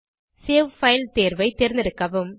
save file தேர்வை தேர்ந்தெடுக்கவும்